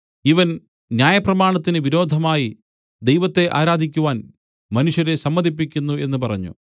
ഇവൻ ന്യായപ്രമാണത്തിന് വിരോധമായി ദൈവത്തെ ആരാധിക്കുവാൻ മനുഷ്യരെ സമ്മതിപ്പിക്കുന്നു എന്നു പറഞ്ഞു